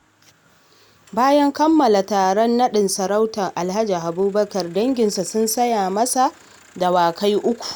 Bayan kammala taron naɗin sarautar Alhaji Abubakar, danginsa sun saya masa dawakai 3.